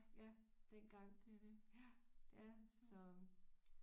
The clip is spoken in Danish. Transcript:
Ja dengang ja det er så